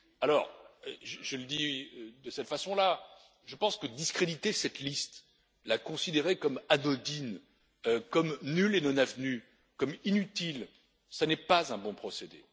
Alors je le dis de cette façon là, je pense que discréditer cette liste, la considérer comme anodine, comme nulle et non avenue, comme inutile, cela n'est pas un bon procédé.